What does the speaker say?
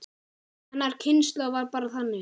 Hennar kynslóð var bara þannig.